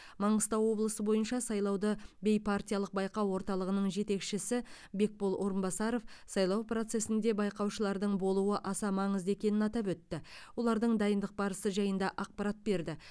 маңғыстау облысы бойынша сайлауды бейпартиялық байқау орталығының жетекшісі бекбол орынбасаров сайлау процесінде байқаушылардың болуы аса маңызды екенін атап өтіп олардың дайындық барысы жайында ақпарат берді